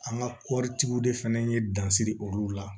An ka kɔɔritigiw de fana ye dansiri olu la